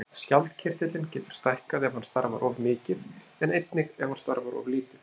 Skjaldkirtillinn getur stækkað ef hann starfar of mikið en einnig ef hann starfar of lítið.